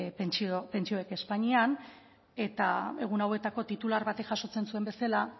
pentsioek espainian eta egun hauetako titular batek jasotzen zuen bezala